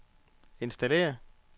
installere